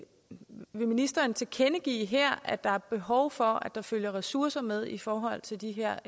med vil ministeren tilkendegive her at der er behov for at der følger ressourcer med i forhold til de her